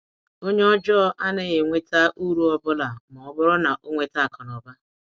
Onye ọjọọ anaghị enweta uru ọbụna ma ọ bụrụ na ọ nweta akụnụba.